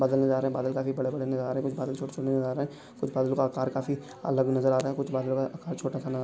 बादल नजर आ रहा है बादल काफी बड़ा बड़ा नजर आ रहा है कुछ बादल छोटे छोटे नजर आ रहे है कुछ बादल का अकार काफी अलग नजर आ रहा कुछ बदल का अकार छोटा सा --